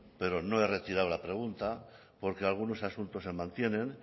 pero no he retirado la pregunta porque algunos asuntos se mantienen